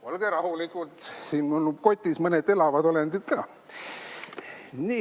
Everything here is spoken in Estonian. Olge rahulikud, mul on siin kotis mõned elavad olendid ka.